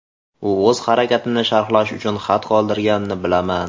U o‘z harakatini sharhlash uchun xat qoldirganini bilaman.